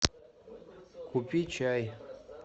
купи чай